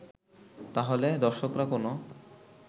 তাহলে দর্শকরা কোনো